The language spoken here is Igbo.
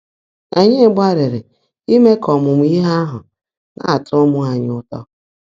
Ányị́ gbáàlị́rị́ íme kà ọ́mụ́mụ́ íhe áhụ́ ná-átọ́ ụ́mụ́ ányị́ ụ́tọ́.